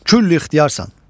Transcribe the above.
Külli ixtiyarsan.